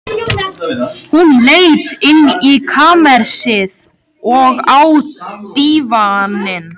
Hún leit inn í kamersið, og á dívaninn.